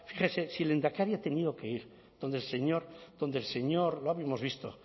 fíjese si el lehendakari ha tenido que ir a donde el señor lo hemos visto